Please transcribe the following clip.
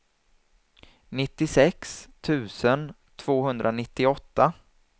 nittiosex tusen tvåhundranittioåtta